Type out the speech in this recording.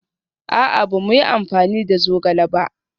A'a, ba mu yi amfani da zogale ba